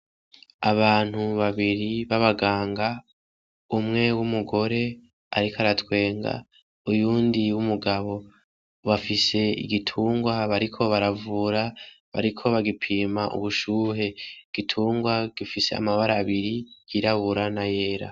Abantu babiri b'abaganga umwe w'umugore ariko aratwenga uyundi w'umugabo bafise igitungwa bariko baravura bariko bagipimpa ubushuhe igitungwa gifise amabara abiri yirabara n'ayera.